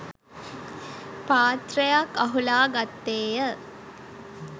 පාත්‍රයක් අහුලා ගත්තේය.